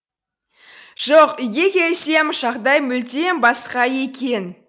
жоқ үйге келсем жағдай мүлдем басқа екен